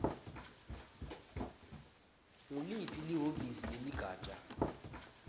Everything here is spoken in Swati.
nguliphi lihhovisi leligatja